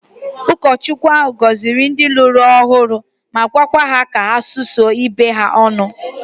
Ụkọchukwu ahụ gọziri ndị lụrụ ọhụrụ ma gwa ha ka ha susuo ibe ha ọnụ